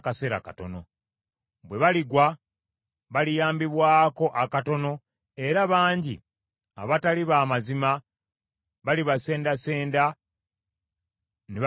Bwe baligwa baliyambibwako akatono era bangi abatali ba mazima balibasendasenda ne babeegattako.